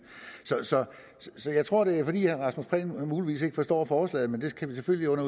så jeg tror det er fordi herre rasmus prehn muligvis ikke forstår forslaget men det kan vi selvfølgelig